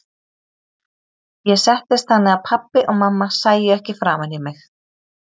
Ég settist þannig að pabbi og mamma sæju ekki framan í mig.